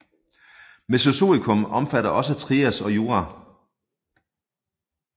Mesozoikum omfatter også Trias og Jura